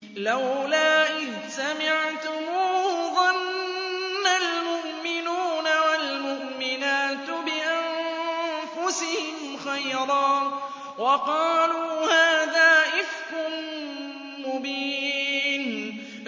لَّوْلَا إِذْ سَمِعْتُمُوهُ ظَنَّ الْمُؤْمِنُونَ وَالْمُؤْمِنَاتُ بِأَنفُسِهِمْ خَيْرًا وَقَالُوا هَٰذَا إِفْكٌ مُّبِينٌ